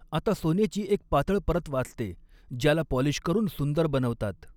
आता सोनेची एक पातळ परत वाचते ज्याला पाॉलिश करून सुंदर बनवतात.